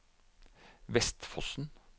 Vestfossen